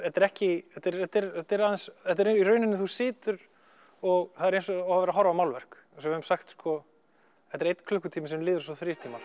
þetta er ekki þetta er þetta er aðeins þetta er í rauninni þú situr og það er eins og þú sért að horfa á málverk eins og við höfum sagt sko þetta er einn klukkutími sem líður eins og þrír tímar